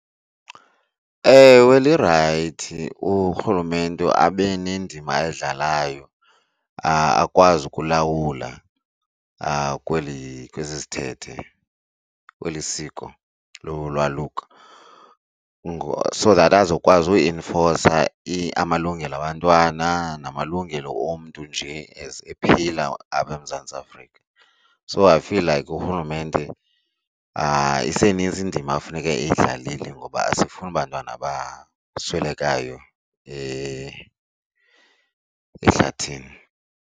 Ewe, lirayithi urhulumente abe nendima ayidlalayo akwazi ukulawula kweli kwesi sithethe kweli siko lolwaluko, so that azokwazi uinfosa amalungelo abantwana namalungelo omntu nje as ephila apha eMzantsi Afrika. So I feel like urhulumente isenintsi indima ekufuneke eyidlalile ngoba asifuni bantwana baswelekayo ehlathini.